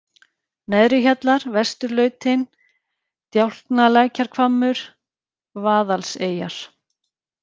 Neðrihjallar, Vesturlautin, Djáknalækjarhvammur, Vaðalseyjar